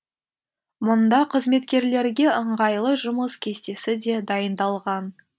мұнда қызметкерлерге ыңғайлы жұмыс кестесі де дайындалған